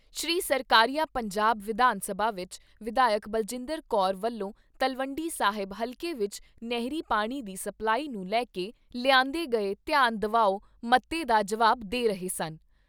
ਸ਼੍ਰੀ ਸਰਕਾਰੀਆ ਪੰਜਾਬ ਵਿਧਾਨਸਭਾ ਵਿਚ ਵਿਧਾਇਕ ਬਲਜਿੰਦਰ ਕੌਰ ਵਲੋਂ ਤਲਵੰਡੀ ਸਾਹਿਬ ਹਲਕੇ ਵਿੱਚ ਨਹਿਰੀ ਪਾਣੀ ਦੀ ਸਪਲਾਈ ਨੂੰ ਲੈ ਕੇ ਲਿਆਂਦੇ ਗਏ ਧਿਆਨ ਦਵਾਉ ਮਤੇ ਦਾ ਜਵਾਬ ਦੇ ਰਹੇ ਸਨ।